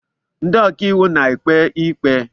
Ndị ọkaiwu na-ekpe ikpe.